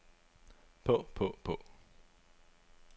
på på på